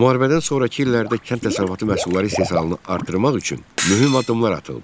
Müharibədən sonrakı illərdə kənd təsərrüfatı məhsulları istehsalını artırmaq üçün mühüm addımlar atıldı.